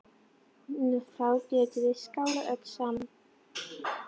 Þá getum við skálað öll saman.